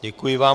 Děkuji vám.